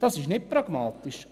Das ist nicht pragmatisch!